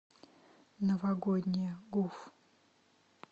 новогодняя гуф